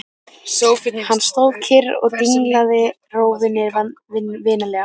Hann stóð kyrr og dinglaði rófunni vinalega.